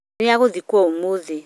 Nĩ agũthikwo ũmũthĩ